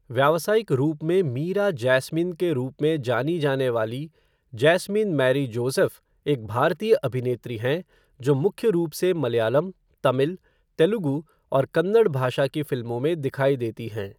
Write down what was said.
व्यावसायिक रूप में मीरा जैस्मिन के रूप में जानी जाने वाली जैस्मिन मैरी जोसेफ़ एक भारतीय अभिनेत्री हैं, जो मुख्य रूप से मलयालम, तमिल, तेलुगू और कन्नड़ भाषा की फ़िल्मों में दिखाई देती हैं।